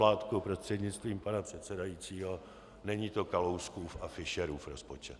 Mládku prostřednictvím pana předsedajícího, není to Kalouskův a Fischerův rozpočet.